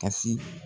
Kasi